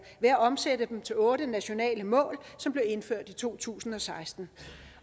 ved at omsætte dem til otte nationale mål som blev indført i to tusind og seksten